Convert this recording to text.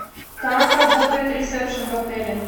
как работает ресепшн в отеле